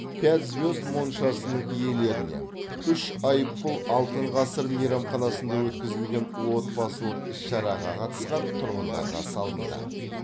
пять звезд моншасының иелеріне үш айыппұл алтын ғасыр мейрамханасында өткізілген отбасылық іс шараға қатысқан тұрғындарға салынды